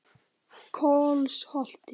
Kolsholti